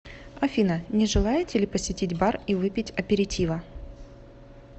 афина не желаете ли посетить бар и выпить аперитива